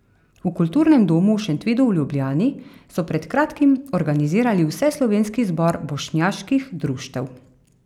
V Kulturnem domu v Šentvidu v Ljubljani so pred kratkim organizirali Vseslovenski zbor bošnjaških društev.